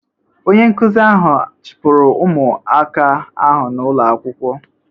Onye nkụzi ahụ a chụpụrụ ụmụaka ahụ n'ulo akwụkwọ?